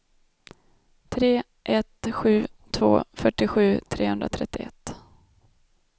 tre ett sju två fyrtiosju trehundratrettioett